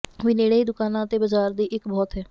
ਵੀ ਨੇੜੇ ਹੀ ਦੁਕਾਨਾ ਅਤੇ ਬਾਜ਼ਾਰ ਦੀ ਇੱਕ ਬਹੁਤ ਹੈ